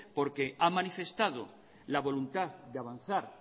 porque a manifestado la voluntad de avanzar